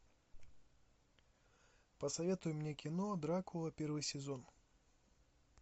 посоветуй мне кино дракула первый сезон